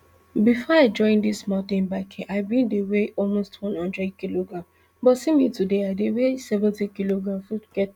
bifor i join dis mountain biking i bin dey weigh almost one hundred kilograms but see me today i dey weigh seventy kilograms funke tok